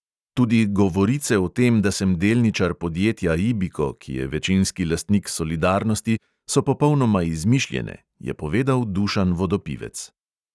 "Tudi govorice o tem, da sem delničar podjetja ibiko, ki je večinski lastnik solidarnosti, so popolnoma izmišljene," je povedal dušan vodopivec.